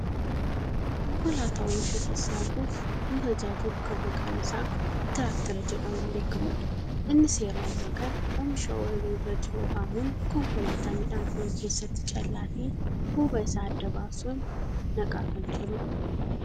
Konkolaataa oomisha sassaabuuf nu tajaajilu kan maqaan isaa tiraaktera jedhamuun beekkamudha. Innis yeroo ammaa kana oomisha ooyiruu irra jiru haamuun Konkolaataa midhaan fe'u keessatti callaafi huuba isaa adda baasuun naqaa kan jirudha.